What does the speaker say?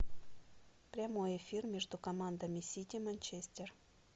прямой эфир между командами сити манчестер